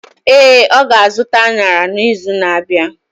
Ee, ọ ga-azụta añara n’izu na-abịa.